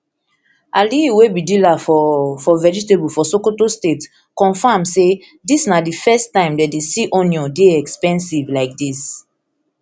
aliyu wey be dealer for for vegetable for sokoto state confam say dis na di first time dem dey see onion dey expensive like dis